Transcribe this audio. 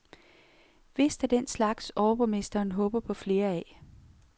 Vist af den slags, overborgmesteren håber på flere af.